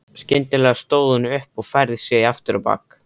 Skyndilega stóð hún upp og færði sig afturábak.